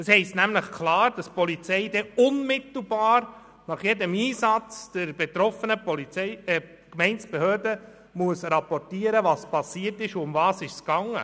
Im Antrag steht deutlich, dass die Polizei unmittelbar nach jedem Einsatz der betroffenen Gemeindebehörde rapportieren muss, was passierte und worum es ging.